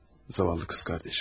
Zavallı qız qardaşım.